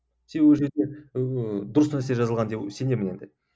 себебі ол жерде ыыы дұрыс нәрсе жазылған деп сенемін енді